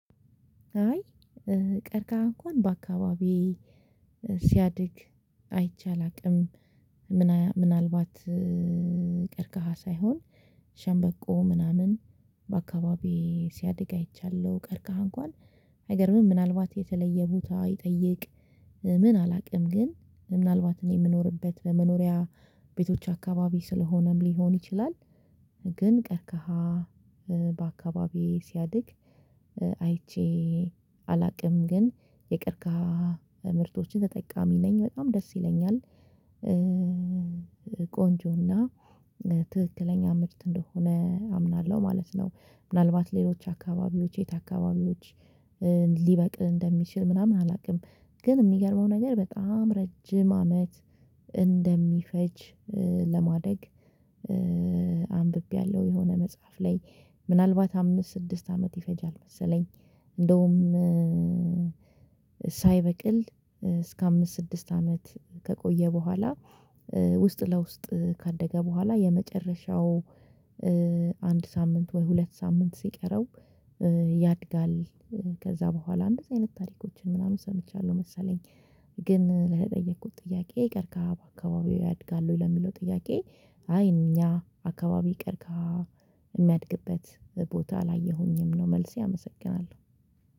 አይ ቀርቀሃ እንኳን በአካባቢ ሲያድግ አይቼ አላውቅም። ምናልባት ቀርቀሃ ሳይሆን ሸምበቆ ምናምን በአካባቢዬ ሲያድግ አይቻለሁ ቀርቀህ እንኳን አይገርምም ምናልባት የተለየ ቦታ ይጠይቅ ምን አላውቅም ግን ምናልባት እኔ የምኖርበት በመኖሪያ ቤቶች አካባቢ ስለሆነም ሊሆን ይችላል። ግን ቀርከሃ በአካባቢዬ ሲያድግ አይቼ ግን የቀርካ ምርቶችን ተጠቃሚ ነኝ በጣም ደስ ይለኛል። ቆንጆና ትክክለኛ ምርት እንደሆነ አምናለሁ ማለት ነው። ምናልባት ሌሎች አካባቢዎች የት አካባቢዎች ሊበቅ እንደሚችል ምናምን አላውቅም። ግን የሚገርመው ነገር በጣም ረጅም አመት እንደሚፈጅ ለማደግ የሆነ መጽሐፍ ላይ ምናልባት አምስት ስድስት አመት ይፈጃል መሰለኝ። እንደውም ሳይበቅል እስከ አምስት ስድስት አመት ከቆየ በኋላ ውስጥ ለውስጥ ካደገ በኋላ የመጨረሻው አንድ ሳምንት ወይ ሁለት ሳምንት ሲቀረው ያድጋል። ከዛ በኋላ እንደዚህ አይነት ታሪኮችን ምናምን ሰምቻለሁ መሰለኝ። ግን ለጠየኩት ጥያቄ ቀርካ በአካባቢው ያድጋለሁ ለሚለው ጥያቄ? አይ እኛ አካባቢ ይቅር የሚያድግበት ቦታ አላየሁኝም ነው መልሴ። አመሰግናለሁ